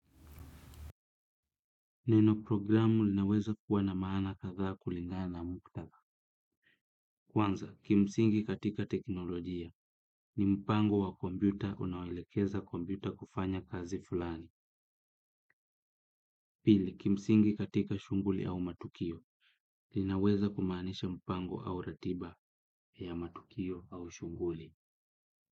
Neno programu linaweza kuwa na maana katha kulingaa na muktaka. Kwanza, kimsingi katika teknolojia ni mpango wa kombiuta unawoelekeza kombiuta kufanya kazi fulani. Pili, kimsingi katika shunguli au matukio linaweza kumaanisha mpango au ratiba ya matukio au shunguli.